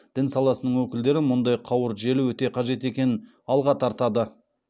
дін саласының өкілдері мұндай қауырт желі өте қажет екенін алға тартады